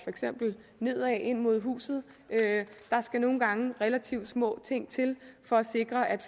nedad ind mod huset der skal nogle gange relativt små ting til for at sikre at